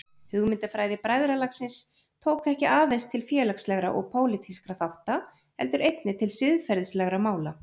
Hugmyndafræði bræðralagsins tók ekki aðeins til félagslegra og pólitískra þátta heldur einnig til siðferðislegra mála.